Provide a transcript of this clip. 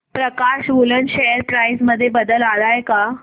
प्रकाश woollen share price मध्ये बदल आलाय का